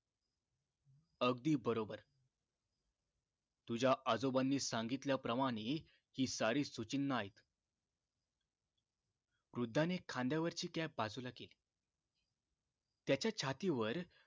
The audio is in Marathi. अगदी बरोबर तुझ्या आजोबांनी सांगितल्या प्रमाणे ही सारी सूचीणा ऐक वृद्धाणे खांद्यावरची cap बाजूला केली त्याच्या छातीवर